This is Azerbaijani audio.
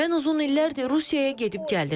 Mən uzun illərdir Rusiyaya gedib gəlirəm.